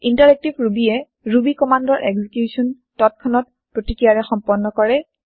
interactive Rubyয়ে Ruby কমান্দৰ execution তাৎক্ষণিক প্ৰতিক্ৰিয়াৰে সম্পন্ন কৰে